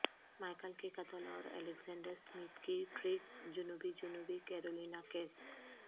Michael کے قتل اور الیگزینڈر سمتھ کی ٹرریگ جنوبی جنوبی کیرولینا کیس